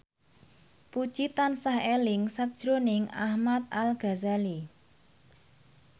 Puji tansah eling sakjroning Ahmad Al Ghazali